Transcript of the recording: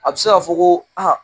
A bɛ se k'a fɔ ko a